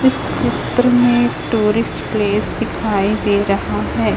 इस चित्र में टूरिस्ट प्लेस दिखाई दे रहा है।